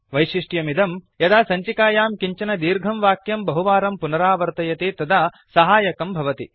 वैशिष्ट्यमिदं यदा सञ्चिकायां किञ्चन दीर्घं वाक्यं बहुवारं पुनरावर्तयति तदा सहायकं भवति